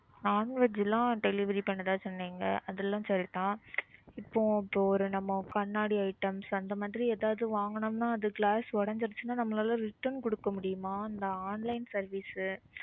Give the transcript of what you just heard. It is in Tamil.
Non-veg லாம் delivery பண்றதா சொன்னீங்க அதெல்லாம் சரி தான். இப்போ இப்போ ஒரு நம்ம கண்ணாடி items அந்த மாதிரி எதாவது வாங்குனோம்னா அது glass உடைஞ்சுடுச்சுனா நம்மளால return குடுக்க முடியுமா? இந்த online service